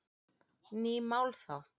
Ný mál þá?